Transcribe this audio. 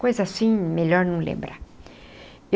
Coisa assim, melhor não lembrar.